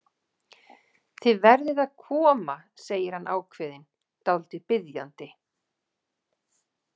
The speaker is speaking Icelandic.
Þið verðið að koma, segir hann ákveðinn, dálítið biðjandi.